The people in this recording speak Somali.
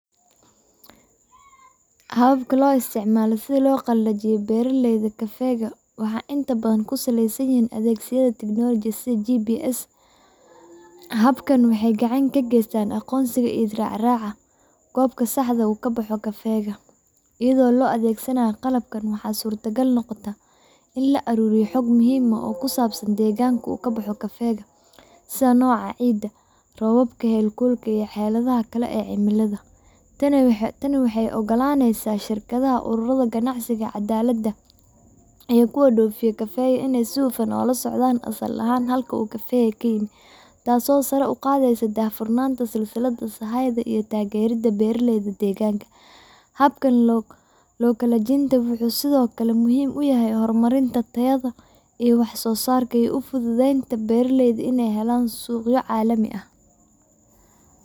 Hababka loo isticmaalo sidhaa loo qalajiiyo beeraleyga kafeeyga waaxa intaa badan ku saleysan yihin adeegyada Technology GBS habakaani waaxey gacaan kageystaan aqonsiga iyo isracraca gobka saaxda ee u kabaxo kafeeyga iyadho lo adeegsanayo qalabkan waaxa surtaagal noqota ina laaruriyo xog mihim oo kusabsan deeganka oo gabaxo kafeeyga sidhaa nooca ciida robab celaha kale ee cimalada taani waaxey oo golaneysa shirkadaha ururaha gacansiiga cadalada iyo kuwa dofiyo kafeeyga ee sii fudud ula socdan asaal aha taas oo sara uqadeyso dahfurnata silsilada beeraleyda habkan lo qalajintaa muhim uyaaha hor marista tayaha so saraaka ee beeraleyda suqyo calaami ah